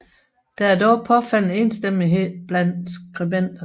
Der er dog påfaldende enstemmighed blandt skribenterne